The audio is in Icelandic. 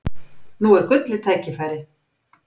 Nú er gullið tækifæri!